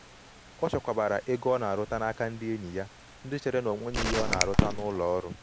o chekwabara ego ọ na aruta n’aka ndị enyi ya ndị chere na ọnweghị ihe ọ na aruta n'ụlọ ọrụ